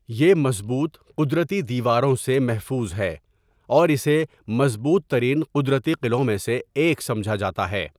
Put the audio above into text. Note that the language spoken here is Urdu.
یہ مضبوط قدرتی دیواروں سے محفوظ ہے اور اسے مضبوط ترین قدرتی قلعوں میں سے ایک سمجھا جاتا ہے۔